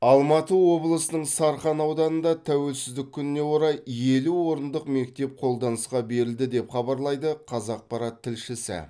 алматы облысының сарқан ауданында тәуелсіздік күніне орай елу орындық мектеп қолданысқа берілді деп хабарлайды қазақпарат тілшісі